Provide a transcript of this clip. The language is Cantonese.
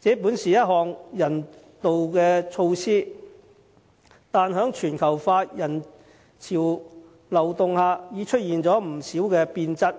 這本是一項人道措施，但在全球化人潮流動下已變質。